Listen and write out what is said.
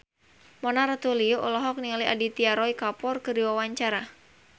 Mona Ratuliu olohok ningali Aditya Roy Kapoor keur diwawancara